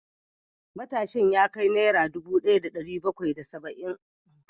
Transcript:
Matashin ya kai Naira dubu daya da dari bakwai da saba’in